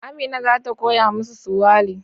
Amina za ta koya musu Suwali